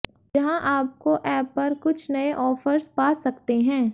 जहां आपको ऐप पर कुछ नए ऑफर्स पा सकते हैं